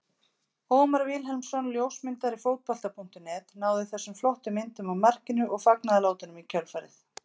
Ómar Vilhelmsson ljósmyndari Fótbolta.net náði þessum flottu myndum af markinu og fagnaðarlátunum í kjölfarið.